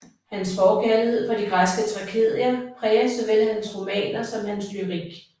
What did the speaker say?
Hans forkærlighed for de græske tragedier præger såvel hans romaner som hans lyrik